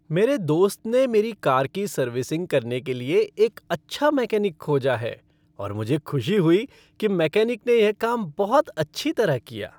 मेरे दोस्त ने मेरी कार की सर्विसिंग करने के लिए एक अच्छा मैकेनिक खोजा है और मुझे खुशी हुई कि मेकैनिक ने यह काम बहुत अच्छी तरह किया।